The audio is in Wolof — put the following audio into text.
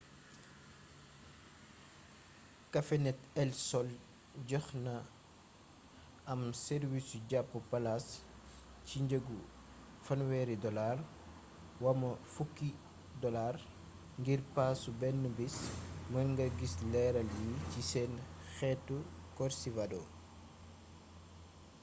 cafenet el sol joxe na am sàrwiisu jàpp palaas ci njëggu us$30 wama $10 ngir paasu benn bis; mën nga gis leeral yi ci seen xëtu corcivado